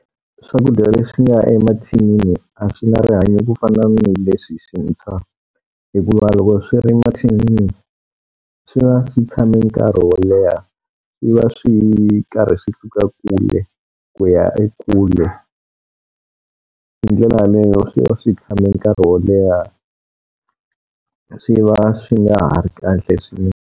Swakudya leswi nga emathinini a swi na rihanyo ku fana na hi leswi swintshwa. Hikuva loko swi ri mathinini swi va swi tshame nkarhi wo leha, swi va swi karhi swi suka kule ku ya e kule. Hi ndlela yaleyo swi va swi tshame nkarhi wo leha, swi va swi nga ha ri kahle .